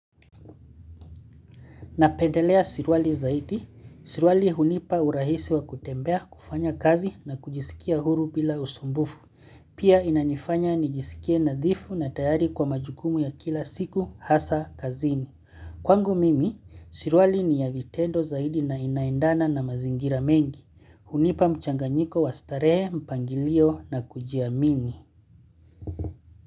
Napendelea sirwali zaidi. Surwali hunipa urahisi wa kutembea kufanya kazi na kujisikia huru bila usumbufu. Pia inanifanya nijisikie nadhifu na tayari kwa majukumu ya kila siku, hasa, kazini. Kwangu mimi, surwali ni ya vitendo zaidi na inaendana na mazingira mengi. Hunipa mchanganyiko wa starehe, mpangilio na kujiamini.